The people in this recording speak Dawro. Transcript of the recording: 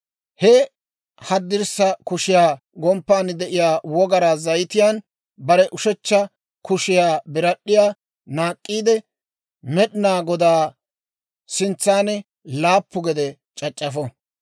«He haddirssa kushiyaa gomppan de'iyaa wogaraa zayitiyaan bare ushechcha kushiyaa birad'd'iyaa naak'k'iide, Med'inaa Godaa sintsan laappu gede c'ac'c'afo.